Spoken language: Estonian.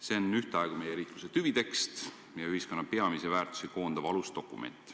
See on ühtaegu meie riikluse tüvitekst ja ühiskonna peamisi väärtusi koondav alusdokument.